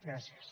gràcies